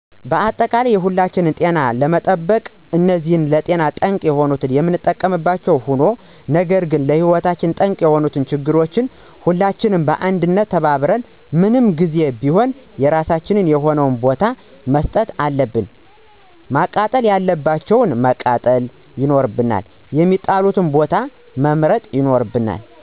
አጠቃላይ የሁላችንን ጤንነት ለመጠበቅ እነዚህን ለጤና ጠንቅ የሆኑ የምንጠቀምባቸዉ ሆኖ ነገር ግን ለህይወት ጠንቅ የሆኑትን ችግሮች ሁላችንም በአንድነት ተባብረን <ምን ጊዜም ቢሆን የራሳቸዉ የሆነ ቦታ>መስጠት አለብን። መቃጠል ያለባቸዉን ማቃጠል ይኖርብናል፣ የሚጣሉበትን ቦታ መምረጥ ይኖርብናል